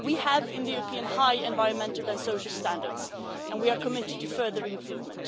We have in the European Union high environmental and social standards and we are committed to further improvement.